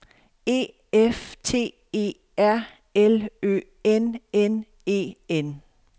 E F T E R L Ø N N E N